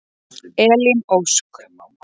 Elín Ósk.